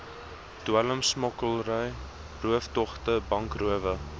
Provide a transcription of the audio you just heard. dwelmsmokkelary rooftogte bankrowe